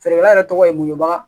Feerekɛla yɛrɛ tɔgɔ ye mohoba